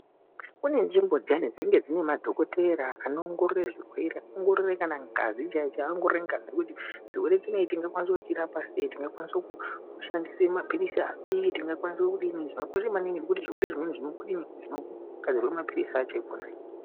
Kune nzvimbo dziyani dzinenge dziine madhokodheya anoongorore zvirwere, anoongorore kana ngazi chaiyo chaiyo aongorore ngazi kuti chirwere ichi vangachirapa sei ,tingashandise mapiritsi api .Zvakakosha maningi ngezvekuti zvirwere zvakona zvanonasirwe mapiritsi akona ikona ikweyo.